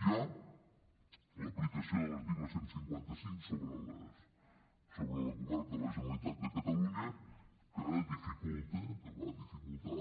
hi ha l’aplicació de l’article cent i cinquanta cinc sobre el govern de la generalitat de catalunya que dificulta que va dificultar